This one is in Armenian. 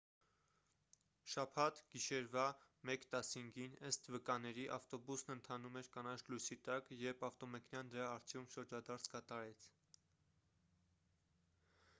շաբաթ գիշերվա 1:15 ըստ վկաների ավտոբուսն ընթանում էր կանաչ լույսի տակ երբ ավտոմեքենան դրա առջևում շրջադարձ կատարեց